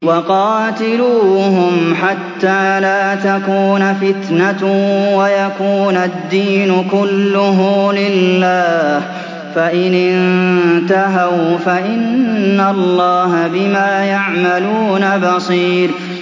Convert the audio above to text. وَقَاتِلُوهُمْ حَتَّىٰ لَا تَكُونَ فِتْنَةٌ وَيَكُونَ الدِّينُ كُلُّهُ لِلَّهِ ۚ فَإِنِ انتَهَوْا فَإِنَّ اللَّهَ بِمَا يَعْمَلُونَ بَصِيرٌ